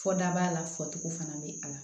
Fɔ daba la fɔcogo fana bɛ a la